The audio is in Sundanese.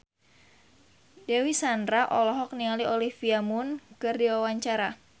Dewi Sandra olohok ningali Olivia Munn keur diwawancara